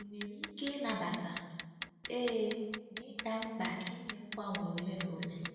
Ị nwere ike i nabata? Ee, ma ị ga-mkpa ime mgbanwe ole na ole.